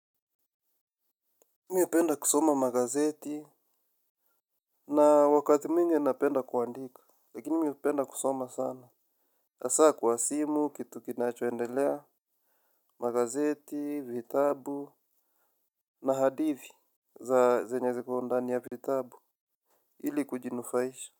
Mimi hupenda kusoma magazeti. Na wakati mwingi napenda kuandika. Lakini mimi hupenda kusoma sana hasa kwa simu, kitu kinachoendelea. Magazeti, vitabu na hadithi za zenye ziko ndani ya vitabu ili kujinufaisha.